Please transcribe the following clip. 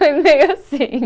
Foi meio assim.